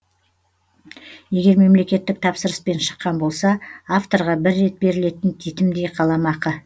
егер мемлекеттік тапсырыспен шыққан болса авторға бір рет берілетін титімдей қаламақы